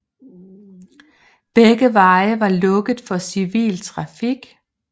Begge veje var lukket for civil trafik